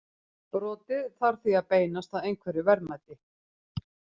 Brotið þarf því að beinast að einhverju verðmæti.